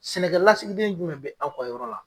Sɛnɛkɛ lasigiden jumɛn bɛ aw ka yɔrɔ la.